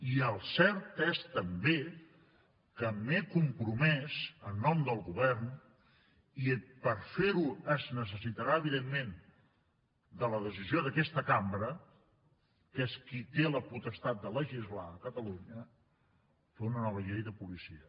i el cert és també que m’he compromès en nom del govern i per fer ho es necessitarà evidentment la decisió d’aquesta cambra que és qui té la potestat de legislar a catalunya a fer una nova llei de policia